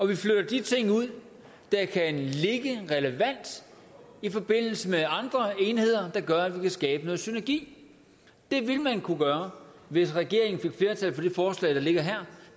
vi flytter de ting ud der kan ligge relevant i forbindelse med andre enheder der gør at vi kan skabe noget synergi det ville man kunne gøre hvis regeringen fik flertal for det forslag der ligger her